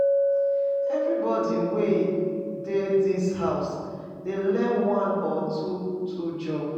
Everybody wey dey this house dey learn one or two two jobs